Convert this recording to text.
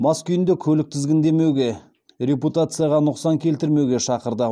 мас күйінде көлік тізгіндемеуге репутацияға нұқсан келтірмеуге шақырды